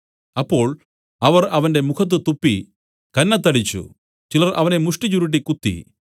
അപ്പോൾ അവർ അവന്റെ മുഖത്തു തുപ്പി കന്നത്തടിച്ചു ചിലർ അവനെ മുഷ്ടിചുരുട്ടി കുത്തി